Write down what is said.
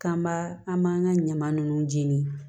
K'an b'a an b'an ka ɲama nunnu jeni